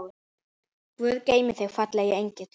Guð geymi þig, fallegi engill.